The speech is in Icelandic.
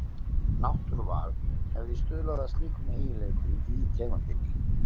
Náttúruval hefði stuðlað að slíkum eiginleikum í tegundinni.